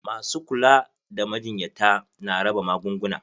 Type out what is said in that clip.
Masu kula da majinyata na raba magunguna.